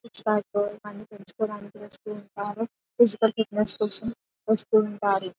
Six pack ఇవన్నీ పెంచుకోడానికి వాస్తు ఉంటారు ఫిజికల్ ఫిట్నెస్ కోసం వస్తు ఉంటారు.